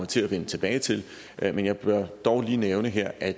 til at vende tilbage til det men jeg vil dog lige nævne her at